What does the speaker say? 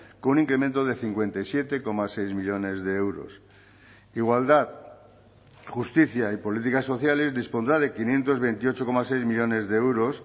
con un incremento de cincuenta y siete coma seis millónes de euros igualdad justicia y políticas sociales dispondrá de quinientos veintiocho coma seis millónes de euros